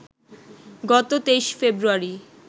গত ২৩ ফেব্রুয়ারি